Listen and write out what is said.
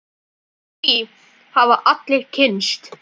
Því hafa allir kynnst.